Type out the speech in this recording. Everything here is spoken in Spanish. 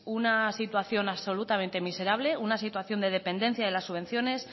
una situación absolutamente miserable una situación de dependencia de las subvenciones